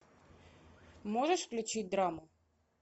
можешь включить драму